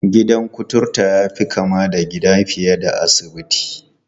Gidan kuturta ya fi kama da gida fiye da asibiti.